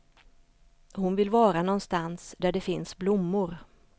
Hon vill vara nånstans där det finns blommor.